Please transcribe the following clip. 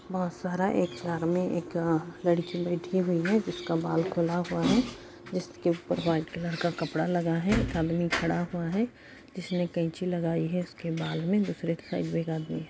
बोहोत सारा एक में एक अअ लड़की बैठी हुई है जिसका बाल खुला हुआ है जिसके ऊपर व्हाइट कलर का कपड़ा लगा है एक आदमी खड़ा हुआ है जिसने कैंची लगाई है उसकेे बाल में दूसरे साइड में एक आदमी --